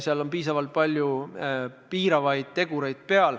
Seal on piisavalt palju piiravaid tegureid.